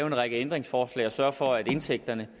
en række ændringsforslag og sørge for at indtægterne